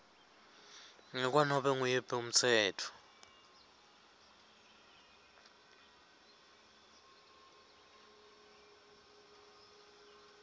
ngekwanobe nguwuphi umtsetfo